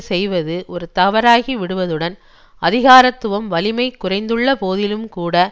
செய்வது ஒரு தவறாகிவிடுவதுடன் அதிகாரத்துவம் வலிமை குறைந்துள்ளபோதிலும்கூட